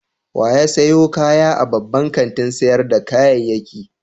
Wa ya sayo kaya a babban kantin sayar da kayayyaki?